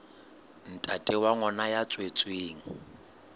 ntate wa ngwana ya tswetsweng